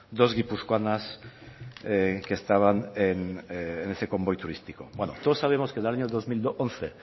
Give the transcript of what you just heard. dos guipuzcoanas que estaban en ese convoy turístico bueno todos sabemos que el año dos mil once